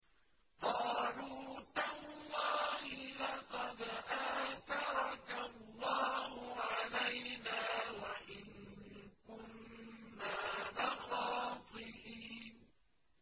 قَالُوا تَاللَّهِ لَقَدْ آثَرَكَ اللَّهُ عَلَيْنَا وَإِن كُنَّا لَخَاطِئِينَ